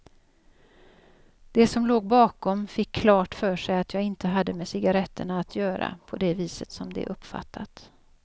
De som låg bakom fick klart för sig att jag inte hade med cigaretterna att göra på det viset som de uppfattat.